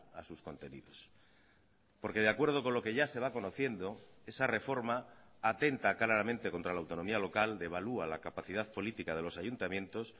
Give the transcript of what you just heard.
a sus contenidos porque de acuerdo con lo que ya se va conociendo esa reforma atenta claramente contra la autonomía local devalúa la capacidad política de los ayuntamientos